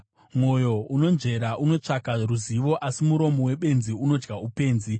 Mwoyo unonzvera unotsvaka ruzivo, asi muromo webenzi unodya upenzi.